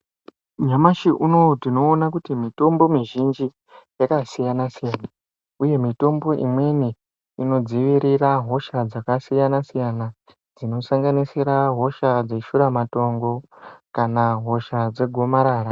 Nyamashi unowu tinoona kuti mitombo mizhinji yakasiyana-siyana, uye mitombo imweni inodzivirira hosha dzakasiyana-siyana, dzino sanganisira hosha dzeshuramatongo kana hosha dzegomarara.